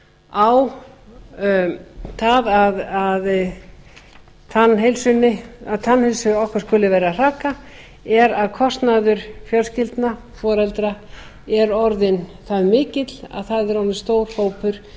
á það að tannheilsu okkar skuli vera að hraka er að kostnaður fjölskyldna foreldra er orðinn það mikill að það er orðinn stór hópur